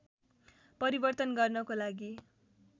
परिवर्तन गर्नको लागि